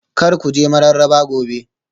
Kar ku je Mararaba Gobe